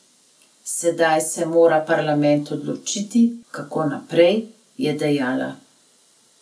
Sedaj se mora parlament odločiti, kako naprej, je dejala.